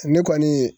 Ne kɔni ye